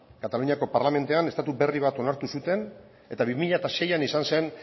kataluniako parlamentuan estatu berri bat onartu zuten eta bi mila seian izan zen